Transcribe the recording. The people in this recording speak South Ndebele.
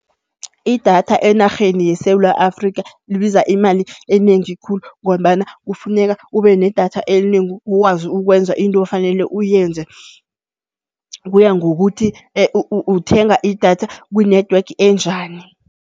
Idatha enarheni yeSewula Afrikha libiza imali enengi khulu ngombana kufuneka ube nedatha enengi ukwazi ukwenza into ofanele uyenze. Kuya ngokuthi uthenga idatha ku-network enjani.